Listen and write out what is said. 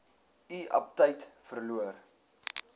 u aptyt verloor